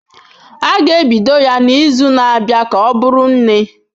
A ga-ebido ya n'izu na-abịa ka ọ bụrụ nne.